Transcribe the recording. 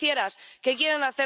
Europe qui protège... en